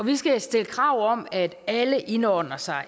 vi skal stille krav om at alle indordner sig